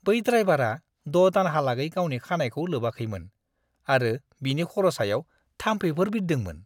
बै ड्राइवारा द' दानहालागै गावनि खानाइखौ लोबाखैमोन आरो बिनि खर' सायाव थाम्फैफोर बिरदोंमोन।